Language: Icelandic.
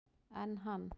Enn hann